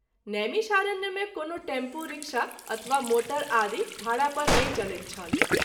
नैमिषारण्य मे कोनो tempo, rickshaw अथवा मोटर आदि भाड़ा पर नहिं चलैत छल।